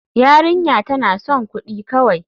Yarinya tana son kudi kawai.